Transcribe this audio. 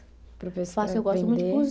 Faço eu gosto muito de cozinhar.